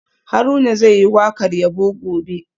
Haruna zai yi wakar yabo gobe